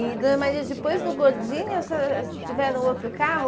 E, dona Maria, depois do Gordini, a senhora tiveram outro carro?